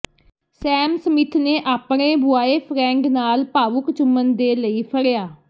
ਸੈਮ Smith ਨੇ ਆਪਣੇ boyfriend ਨਾਲ ਭਾਵੁਕ ਚੁੰਮਣ ਦੇ ਲਈ ਫੜਿਆ